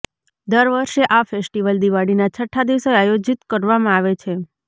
દર વર્ષે આ ફેસ્ટિવલ દિવાળીના છઠ્ઠા દિવસે આયોજિત કરવામાં આવે છે